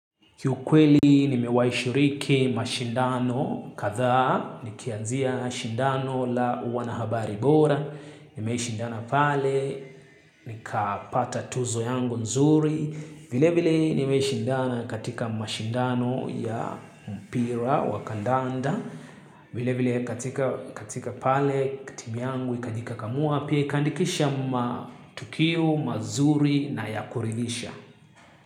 Kiukweli nimewai shiriki mashindano kadhaa, nikianzia mashindano la wanahabari bora, nimeishindana pale, nikapata tuzo yangu nzuri, vilevile nimeishindana katika mashindano ya mpira wa kandanda, vilevile katika pale timu yangu ikajikakamua, pia ikaandikisha matukio, mazuri na ya kuridhisha.